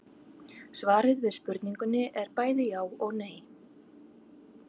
Svarið við spurningunni er bæði já og nei.